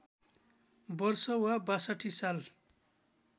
वर्ष वा ६२ साल